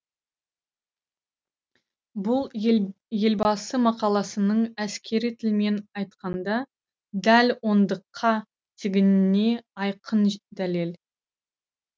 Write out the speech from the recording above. бұл елбасы мақаласының әскери тілмен айтқанда дәл ондыққа тигеніне айқын дәлел